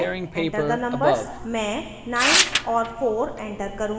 मैं 9 और 4 enter करुँगी